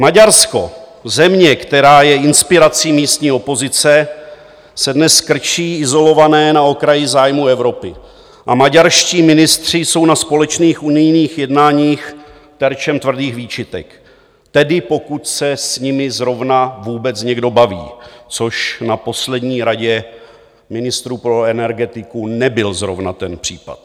Maďarsko, země, která je inspirací místní opozice, se dnes krčí izolované na okraji zájmu Evropy a maďarští ministři jsou na společných unijních jednáních terčem tvrdých výčitek, tedy pokud se s nimi zrovna vůbec někdo baví, což na poslední Radě ministrů pro energetiku nebyl zrovna ten případ.